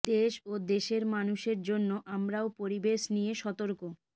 দেশ ও দেশের মানুষের জন্য আমরাও পরিবেশ নিয়ে সতর্ক